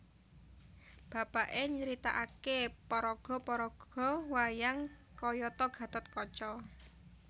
Bapaké nyaritakaké paraga paraga wayang kayata Gatot Kaca